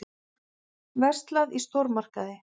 Verslað í stórmarkaði.